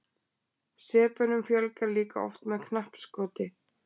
sepunum fjölgar líka oft með knappskoti